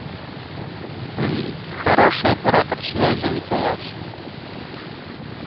хороший оператор связи мтс